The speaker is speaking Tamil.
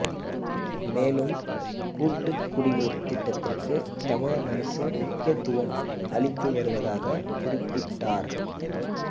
மேலும் கூட்டுக்குடிநீர் திட்டத்திற்கு தமிழக அரசு முக்கியத்துவம் அளித்து வருவதாக குறிப்பிட்டார்